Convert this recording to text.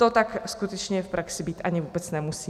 To tak skutečně v praxi být ani vůbec nemusí.